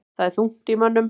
Þar er þungt í mönnum.